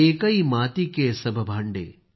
एकै माती के सभ भांडे